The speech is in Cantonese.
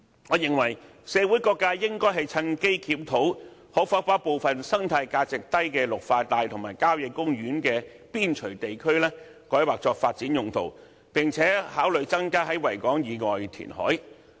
我認為社會各界應趁機檢討可否把部分生態價值低的綠化帶和郊野公園邊陲地區改劃作發展用途，並且考慮增加在維港以外地區填海。